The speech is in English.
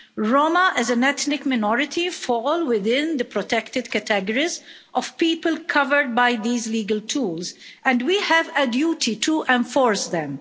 Roma, as an ethnic minority, fall within the protected categories of people covered by these legal tools, and we have a duty to enforce them.